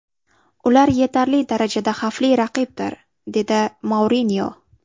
Ular yetarli darajada xavfli raqibdir”, dedi Mourinyo.